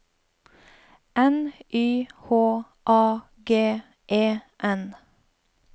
N Y H A G E N